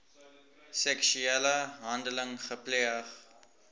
seksuele handeling gepleeg